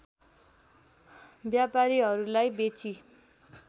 व्यापारीहरूलाई बेची